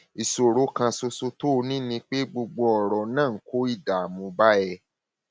ìṣòro kan ṣoṣo tó o ní ni pé gbogbo ọrọ náà ń kó ìdààmú bá ẹ